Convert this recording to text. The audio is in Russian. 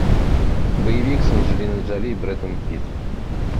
боевик с анджелиной джоли и брэдом питт